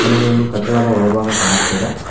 ಹಾಗೆ ಒಂದು ಕಟ್ಟಡದ ಒಳಭಾಗ ಕಾಣಸ್ತಿದೆ.